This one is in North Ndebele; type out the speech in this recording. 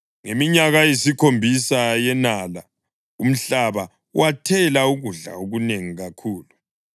Ngeminyaka eyisikhombisa yenala umhlaba wathela ukudla okunengi kakhulu.